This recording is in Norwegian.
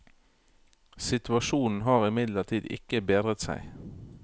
Situasjonen har imidlertid ikke bedret seg.